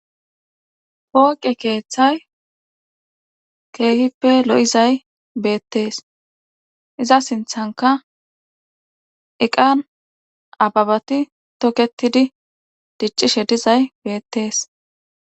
pooqe keeththay keehippe lo7izay beettees iza sinthanka eqan ababati toketidi diccishe dizay beettees